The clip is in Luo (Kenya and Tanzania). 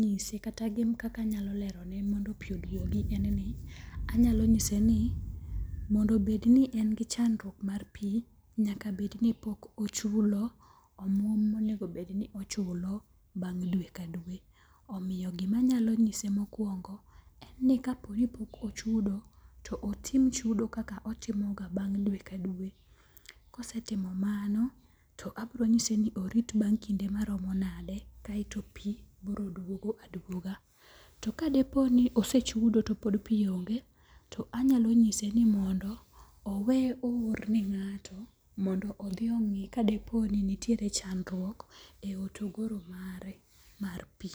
nyise kata kaka anyalo lerone mondo pi oduogi en ni anyalo nyise ni mondo obed ni en gi chandruok mar pi nyaka bed ni pok ochulo omuom monego bed ni ochulo bang' dwe ka dwe. Omiyo gimanyalo nyise mokwongo en ni kapo ni pok ochudo to otim chudo kaka otimo ga bang' dwe ka dwe. Kosetimo mano to abro nyise ni orit bang' kinde marom nade kaeto pi biro duogo aduoga. Ka depo ni osechudo to pod pi onge to anyalo nyise ni owe o or ne ng'ato mondo odhi ongi kadipo ni nitiere chandruok e hotogoro mare mar pi.